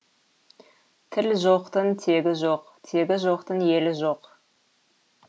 тілі жоқтың тегі жоқ тегі жоқтың елі жоқ